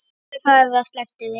Gerðu það eða slepptu því.